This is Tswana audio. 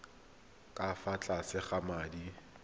ka fa tlase ga madi